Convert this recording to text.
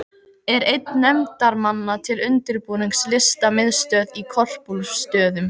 Er einn nefndarmanna til undirbúnings Listamiðstöð á Korpúlfsstöðum.